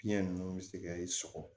Fiɲɛ ninnu bɛ se ka i sɔgɔ